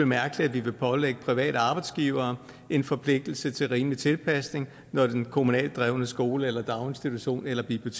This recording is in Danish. mærkeligt at vi vil pålægge private arbejdsgivere en forpligtelse til rimelig tilpasning når den kommunalt drevne skole eller daginstitution eller det